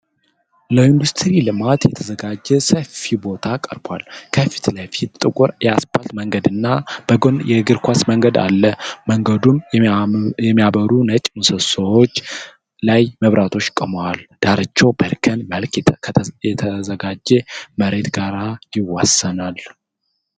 ለኢንዱስትሪ ልማት የተዘጋጀ ሰፊ ቦታ ቀርቧል። ከፊት ለፊት ጥቁር የአስፋልት መንገድና በጎን የእግረኛ መንገድ አሉ። መንገዱን የሚያበሩ ነጭ ምሰሶዎች ላይ መብራቶች ቆመዋል። ዳርቻው በእርከን መልክ ከተዘጋጀ መሬት ጋር ይዋሰናል።